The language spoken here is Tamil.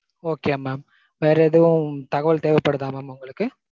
okay mam. வேற எதுவும் தகவல் தேவைப்படுதா mam உங்களுக்கு?